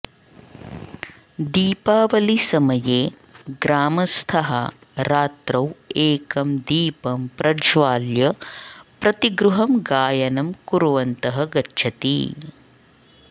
दीपावलिसमये ग्रामस्थाः रात्रौ एकं दीपं प्रज्वाल्य प्रतिगृहं गायनं कुर्वन्तः गच्छति